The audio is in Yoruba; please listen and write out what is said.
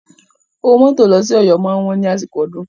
Owó mọ́tò lọ sí Ọ̀yọ́ máa wọ́n ní àsìkò ọdún.